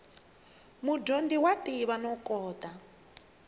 mudyondzi wa tiva no kota